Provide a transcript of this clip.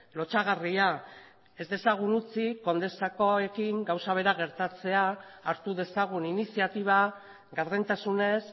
lotsagarria ez dezagun utzi condesakoekin gauza bera gertatzea hartu dezagun iniziatiba gardentasunez